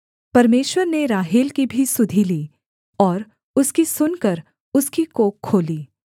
परमेश्वर ने राहेल की भी सुधि ली और उसकी सुनकर उसकी कोख खोली